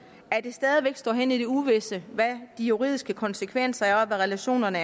at det stadig væk står hen i det uvisse hvad de juridiske konsekvenser er og hvad relationerne